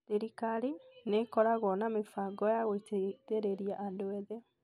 Thirikari nĩ ĩkoregwo na mĩbango ya gũteithĩriria andũ ethĩ.